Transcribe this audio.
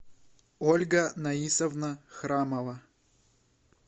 ольга наисовна храмова